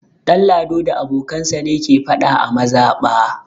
Ɗanlado da abokansa ne ke faɗa a mazaɓa.